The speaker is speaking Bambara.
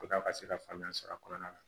Ko a ka se ka faamuya sɔrɔ a kɔnɔna na